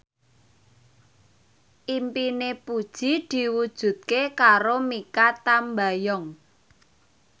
impine Puji diwujudke karo Mikha Tambayong